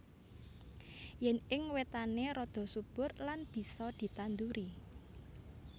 Yen ing wetané rada subur lan bisa ditanduri